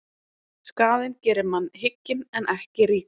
Skaðinn gerir mann hygginn en ekki ríkan.